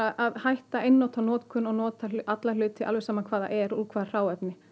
að hætta einnota notkun og nota alla hluti alveg sama hvað það er og úr hvaða hráefni